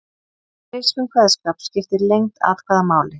Í grískum kveðskap skiptir lengd atkvæða máli.